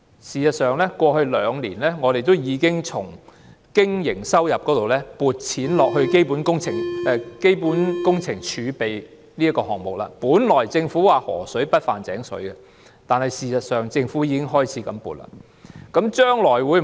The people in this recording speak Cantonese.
事實上，過去兩年，我們已將經營收入撥入基本工程儲備基金，本來政府說是"河水不犯井水"的，但事實上政府已經開始撥錢。